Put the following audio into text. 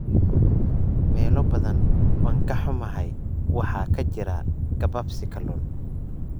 Meelo badan, waan ka xumahay, waxaa ka jira gabaabsi kalluun.